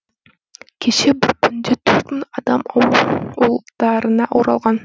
кеше бір күнде төрт мың адам ауылдарына оралған